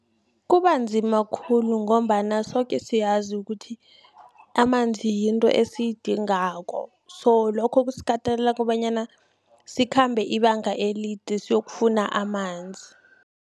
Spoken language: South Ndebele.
Kubanzima khulu, ngombana soke siyazi ukuthi, amanzi yinto esiyidingako. So, lokho kusikatelela kobanyana sikhambe ibanga elide, siyokufuna amanzi.